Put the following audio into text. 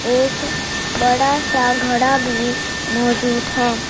एक बड़ा सा घड़ा भी मौजूद है।